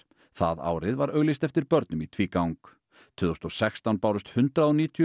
það árið var auglýst eftir börnum í tvígang tvö þúsund og sextán bárust hundrað og níutíu